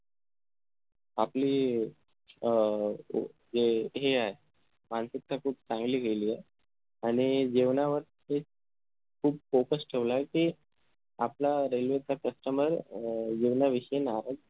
आपली अं जे हे आहे खूप चांगली केली ए आणि जेवणावर ते खूप focus ठेवला ए कि आपला railway चा customer अह जेवनाविषय नाराज